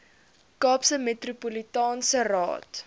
kaapse metropolitaanse raad